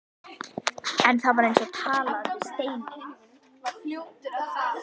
En það var eins og að tala við steininn.